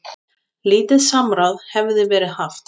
Lítið samráð hefði verið haft.